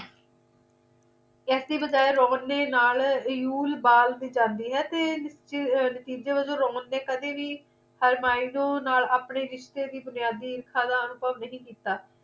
ਇਸ ਦੀ ਬਜਾਏ roman ਦੇ ਨਾਲ euyalball ਵੀ ਜਾਂਦੀ ਹੈ ਤੇ ਨਤੀਜੇ ਵਜੋਂ roman ਨੇ ਕਦੀ ਵੀ harymuni ਨਾਲ ਆਪਣੇ ਰਿਸ਼ਤੇ ਦੀ ਬੁਨਿਆਦੀ ਨਹੀਂ ਕੀਤਾ